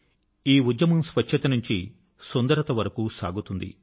ఈ ఉద్యమం స్వచ్ఛత నుంచి సుందరత వరకు సాగుతుంది